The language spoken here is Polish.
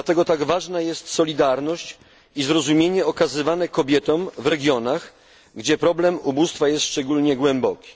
Dlatego tak ważna jest solidarność i zrozumienie okazywane kobietom w regionach, gdzie problem ubóstwa jest szczególnie głęboki.